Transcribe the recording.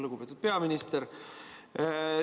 Lugupeetud peaminister!